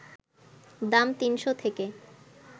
দাম ৩শ’ থেকে